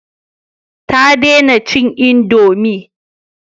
Ta dena cin indomi